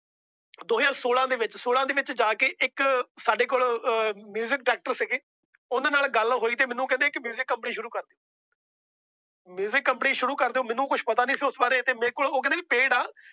ਦੋ ਹਜ਼ਾਰ ਸੋਲਾਂ ਦੇ ਵਿੱਚ ਸਾਡੇ ਕੋਲ ਇੱਕ Music Director ਸੀ। ਉਹਂਦੇ ਨਾਲ ਗੱਲ ਹੋਈ ਜਾ ਕੇ ਮੈਨੂੰ ਕਹਿੰਦੇ Music Director ਸ਼ੁਰੂ ਕਰ। Music Company ਸ਼ੁਰੂ ਕਰ ਮੈਨੂੰ ਕੁਛ ਪਤਾ ਨਹੀਂ ਸੀ ਉਸ ਬਾਰੇ ਉਹ ਕਹਿੰਦੇ ਵੀ Paid ਆ